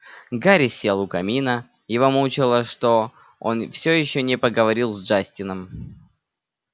гарри сел у камина его мучило что он все ещё не поговорил с джастином